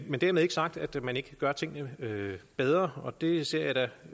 men dermed ikke sagt at man ikke kan gøre tingene bedre og det ser jeg da